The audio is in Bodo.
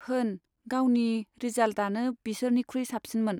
होन, गावनि रिजाल्टआनो बिसोरनिखुइ साबसिनमोन।